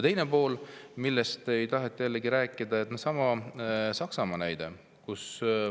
Teine pool, millest ei taheta ka rääkida, on Saksamaa näide.